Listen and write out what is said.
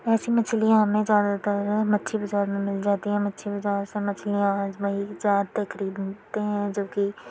ऐसी मछलियां हमें ज्यादातर मच्छी बाजार में मिल जाती हैं। मच्छी बाजार से मछलियाँ आज वही जाते खरीदनते है जो कि --